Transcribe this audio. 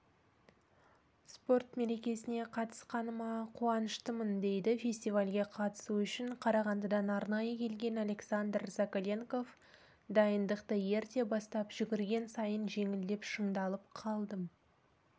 спорт мерекесіне қатысқаныма қуаныштымын дейді фестивалге қатысу үшін қарағандыдан арнайы келген александр закаленков дайындықты ерте бастап жүгірген сайын жеңілдеп шыңдалып қалдым